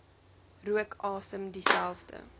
rook asem dieselfde